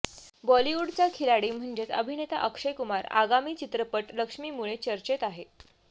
बॉलिवूडचा खिलाडी म्हणजेच अभिनेता अक्षय कुमार आगामी चित्रपट लक्ष्मीमुळे चर्चेत आहे